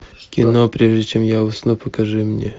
кино прежде чем я усну покажи мне